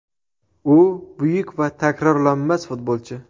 U – buyuk va takrorlanmas futbolchi”.